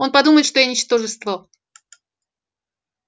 он подумает что я ничтожество